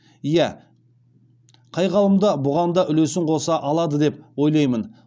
иә қай ғалым да бұған да үлесін қоса алады деп ойлаймын